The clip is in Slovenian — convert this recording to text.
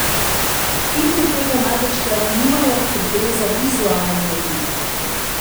Filmi tega največkrat nimajo, ker gre za vizualen medij.